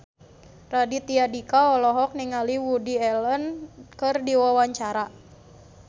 Raditya Dika olohok ningali Woody Allen keur diwawancara